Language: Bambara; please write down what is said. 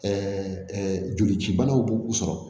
jolicibanaw b'u sɔrɔ